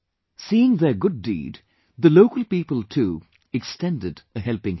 Seeing their good deed, the local people too extended a helping hand